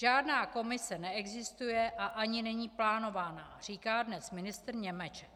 Žádná komise neexistuje a ani není plánována, říká dnes ministr Němeček.